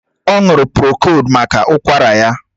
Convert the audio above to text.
Ọ ṅụrụ prokóld maka ụkwara ya